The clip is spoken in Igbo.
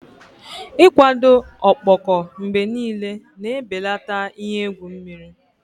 Ịkwado ọkpọkọ mgbe niile na-ebelata ihe egwu mmiri.